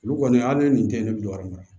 Olu kɔni a ni nin tɛ ne bi yɔrɔ min na